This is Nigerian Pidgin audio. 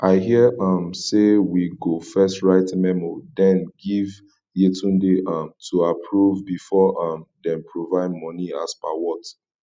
i hear um say we go first write memo den give yetunde um to approve before um dem provide money as per what